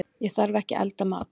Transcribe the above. Ég þarf ekki að elda mat.